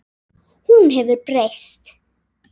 Hún hefur breyst.